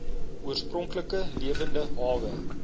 oorspronklike lewende hawe